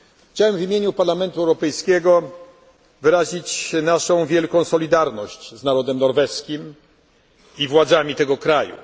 społeczności. Chciałbym w imieniu Parlamentu Europejskiego wyrazić naszą wielką solidarność z narodem norweskim i władzami